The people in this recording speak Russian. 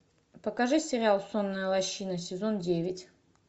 покажи сериал сонная лощина сезон девять